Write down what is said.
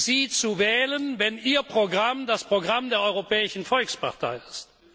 Sie zu wählen, wenn Ihr Programm das Programm der Europäischen Volkspartei ist?